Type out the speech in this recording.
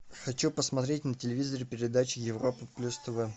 хочу посмотреть на телевизоре передачу европа плюс тв